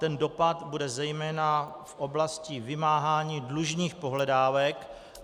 Ten dopad bude zejména v oblasti vymáhání dlužních pohledávek.